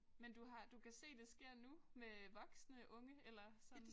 Men du har du kan se det sker nu med voksne unge eller sådan?